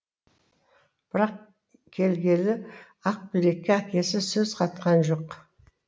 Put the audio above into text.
бірак келгелі ақбілекке әкесі сөз қатқан жоқ